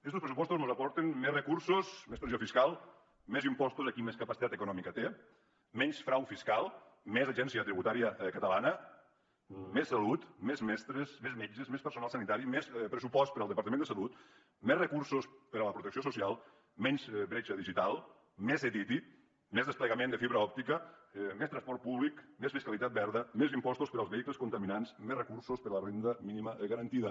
estos pressupostos mos aporten més recursos més pressió fiscal més impostos a qui més capacitat econòmica té menys frau fiscal més agència tributària catalana més salut més mestres més metges més personal sanitari més pressupost per al departament de salut més recursos per a la protecció social menys bretxa digital més ctti més desplegament de fibra òptica més transport públic més fiscalitat verda més impostos per als vehicles contaminants més recursos per a la renda mínima garantida